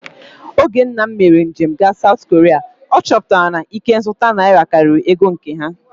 Oge nna m mere njem gaa Saụt Koria, ọ chọpụtara na ikenzụta naira karịrị nke ego ha